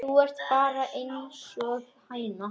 Þú ert bara einsog hæna.